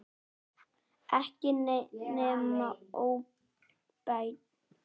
Ekki nema óbeint.